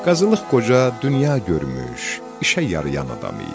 Qazılıq Qoca dünya görmüş, işə yarayan adam idi.